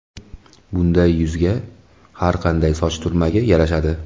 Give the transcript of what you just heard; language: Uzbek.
Bunday yuzga har qanday soch turmagi yarashadi.